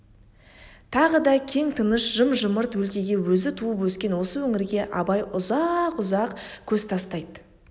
тағы да кең тыныш жым-жырт өлкеге өзі туып өскен осы өңірге абай ұзақ-ұзақ көз тастайды